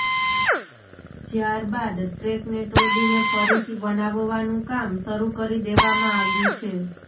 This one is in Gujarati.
જ્યારબાદ ટ્રેકને તોડીને ફરીથી બનાવવાનું કામ શરૂ કરી દેવામાં આવ્યું છે